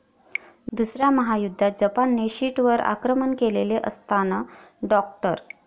दुसऱ्या महायुद्धात जपानने शीटवर आक्रमण केलेले असतान डॉ.